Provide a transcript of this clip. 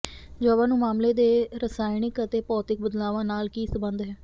ਜਵਾਬਾਂ ਨੂੰ ਮਾਮਲੇ ਦੇ ਰਸਾਇਣਕ ਅਤੇ ਭੌਤਿਕ ਬਦਲਾਵਾਂ ਨਾਲ ਕੀ ਸੰਬੰਧ ਹੈ